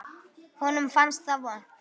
Honum fannst það vont.